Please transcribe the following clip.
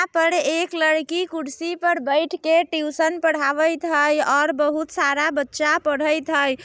यहां पर एक लड़की कुर्सी पर बैठ के ट्यूशन पढ़ावेएत हय और बहुत सारा बच्चा पढ़ैत हय।